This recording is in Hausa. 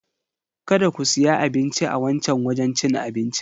Kada ku siya abinci a wancan wajen cin abincin.